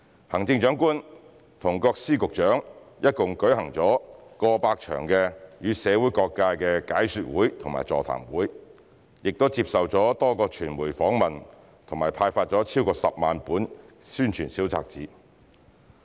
行政長官和各司局長一共舉行了過百場予社會各界的解說會和座談會，並接受了多個傳媒訪問和派發了超過10萬本宣傳小冊子。